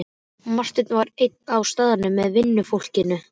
Marteinn var einn á staðnum með vinnufólkinu.